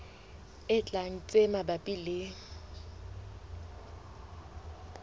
e tlang tse mabapi le